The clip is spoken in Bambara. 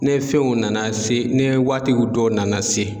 Ne fɛnw nana se ni waatiw dɔw nana se.